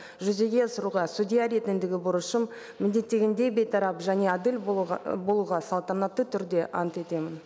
жүзеге асыруға судья ретіндегі борышым міндеттегендей бейтарап және әділ болуға салтанатты түрде ант етемін